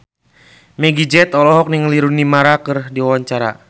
Meggie Z olohok ningali Rooney Mara keur diwawancara